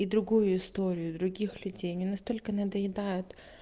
и другую историю других людей они настолько надоедают